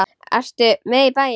Ertu með í bæinn?